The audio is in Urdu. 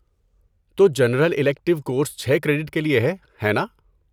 تو جنرل الیکٹیو کورس چھ کریڈٹ کے لیے ہے، ہے ناں؟